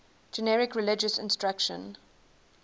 generic religious instruction